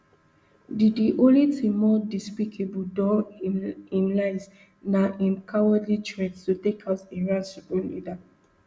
di di only tin more despicable dan im lies na im cowardly threat to take out iran supreme leader